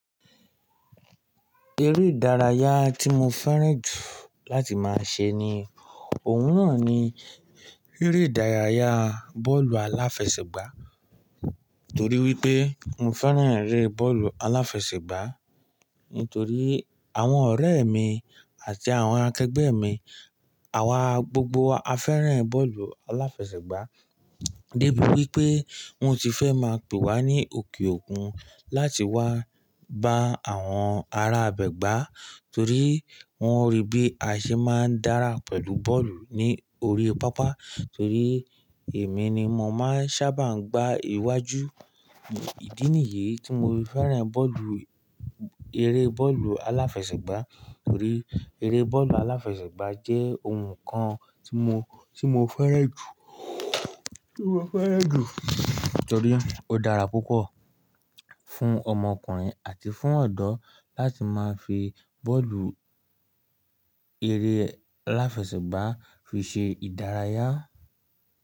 Eré ìdárayá tí mo fẹ́ràn jù láti máa ṣe ni, òun náà ni eré ìdárayá bọ́ọ̀lù aláfẹsẹ̀gbá, torí wípé mo fẹ́ràn eré bọ́ọ̀lù aláfẹsẹ̀gbá. Nítorí àwọn ọ̀rẹ́ mi àti àwọn akẹgbẹ́ mi, àwa gbogbo a fẹ́ràn bọ́ọ̀lù aláfẹsẹ̀gbá. Débi wípé wọ́n ti fẹ́ máa pè wa ní òkè òkun láti wá bá àwọn ará ibẹ gbá, torí wọ́n rí bí a ṣe máa ń dára pẹ̀lú bọ́ọ̀lù ní orí pápá. Torí èmi ni mo máa ń sábà gbá iwájú. Ìdí nìyí tí mo fẹ́ràn bọ́ọ̀lù, eré bọ́ọ̀lù aláfẹsẹ̀gbá. Torí eré bọ́ọ̀lù aláfẹsẹ̀gbá jẹ́ ohun kan tí mo, tí mo fẹ́ràn jù, tí mo fẹ́ràn jù. Torí ó dára púpọ̀ fún ọmọkùnrin àti fún ọ̀dọ́ láti máa fi bọ́ọ̀lù eré aláfẹsẹ̀gbá fi ṣe ìdárayá.